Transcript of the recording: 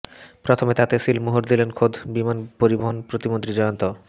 প্রথমে তাতে সিলমোহর দিলেন খোদ বিমান পরিবহণ প্রতিমন্ত্রী জয়ন্ত